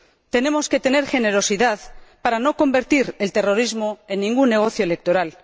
Tenemos que tener generosidad para no convertir el terrorismo en ningún negocio electoral.